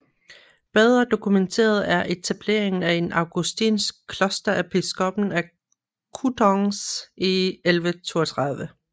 Bedre dokumenteret er etableringen af et augustinsk kloster af biskoppen af Coutances i 1132